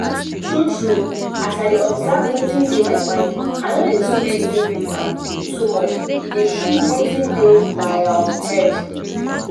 true true as i dey observe wetin dey my mind i no too dey reasom am too much e dey free waiting dey my um head